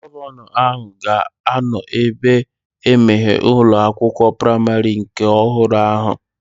Gọvanọ ahụ ga-anọ ebea imeghe ụlọ akwụkwọ praimarị nke ọhụrụ ahụ